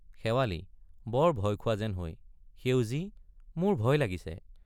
শেৱালি— বৰ ভয় খোৱা যেন হৈ সেউজী মোৰ ভয় লাগিছে।